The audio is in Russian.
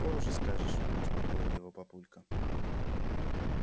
позже скажешь успокоил его папулька